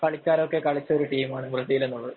കളിക്കാരൊക്കെ കളിച്ച ഒരു ടീമാണ് ബ്രസീല്‍ എന്നുള്ളത്.